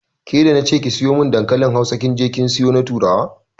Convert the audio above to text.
Ke da na ce ki siyo mun dankalin Hausa kin je kin sayo na turawa.